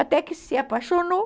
Até que se apaixonou.